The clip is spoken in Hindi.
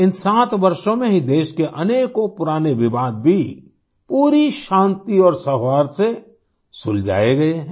इन 7 वर्षों में ही देश के अनेकों पुराने विवाद भी पूरी शांति और सौहार्द से सुलझाए गए हैं